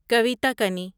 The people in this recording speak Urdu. کویتا کنی